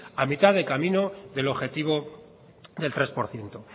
a mitad de camino del objetivo del tres por ciento